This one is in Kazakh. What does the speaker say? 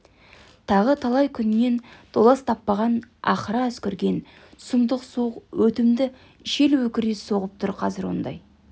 тағы талай күннен толас таппаған ақыра үскірген сұмдық суық өтімді жел өкіре соғып тұр қазір ондай